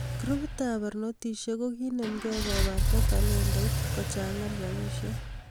Grupit ab barnotisiek kokinemke kobarta talentait kochangan rabisiek